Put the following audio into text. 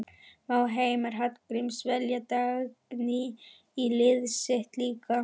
Má Heimir Hallgríms velja Dagný í liðið sitt líka?